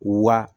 Wa